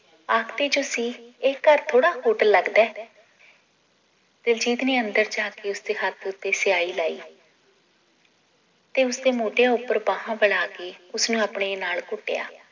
ਇਹ ਘਰ ਥੋੜਾ ਹੋਟਲ ਲੱਗਦਾ ਏ ਦਿਲਜੀਤ ਨੇ ਅੰਦਰ ਜਾ ਕੇ ਉਸਦੇ ਹੱਥ ਉੱਤੇ ਸਿਆਹੀ ਲਾਈ ਤੇ ਉਸਦੇ ਮੋਢਿਆਂ ਉੱਪਰ ਬਾਹਾਂ ਫੈਲਾ ਕੇ ਉਸਨੂੰ ਆਪਣੇ ਨਾਲ ਘੁੱਟਿਆ